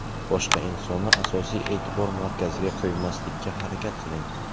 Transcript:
Boshqa insonni asosiy e’tibor markaziga qo‘ymaslikka harakat qiling.